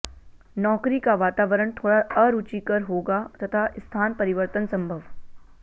नौकरी का वातावरण थोड़ा अरुचिकर होगा तथा स्थान परिवर्तन संभव